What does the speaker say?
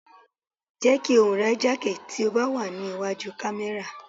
Jẹ́ kí ohùn rẹ jákè tí ó bá wà ní wájú kámẹ́rà.